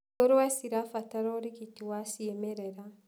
Ngũrũwe cirabatara ũrigiti wa ciimerera.